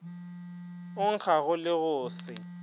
o nkgago le go se